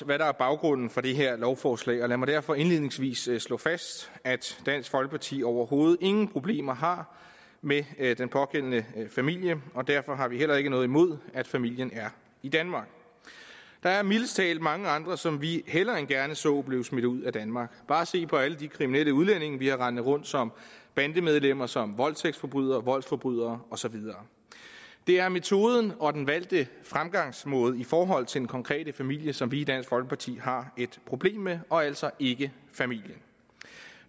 hvad der er baggrunden for det her lovforslag lad mig derfor indledningsvis slå fast at dansk folkeparti overhovedet ingen problemer har med den pågældende familie og derfor har vi heller ikke noget imod at familien er i danmark der er mildest talt mange andre som vi hellere end gerne så blive smidt ud af danmark bare se på alle de kriminelle udlændinge vi har rendende rundt som bandemedlemmer som voldtægtsforbrydere voldsforbrydere og så videre det er metoden og den valgte fremgangsmåde i forhold til den konkrete familie som vi i dansk folkeparti har et problem med og altså ikke familien